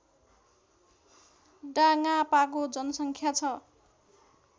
डाङापाको जनसङ्ख्या छ